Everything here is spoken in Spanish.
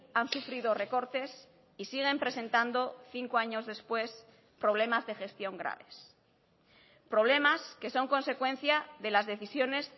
han sufrido recortes y siguen presentando cinco años después problemas de gestión graves problemas que son consecuencia de las decisiones